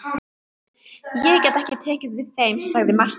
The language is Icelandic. Ég get ekki tekið við þeim, sagði Marteinn.